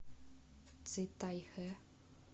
цитайхэ